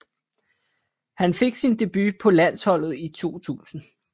Han fik sin debut på landsholdet i 2000